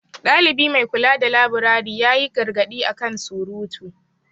Dalibi mai kula da laburare ya yi gargaɗi a kan surutu.